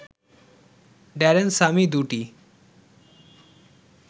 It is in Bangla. ড্যারেন স্যামি দুটি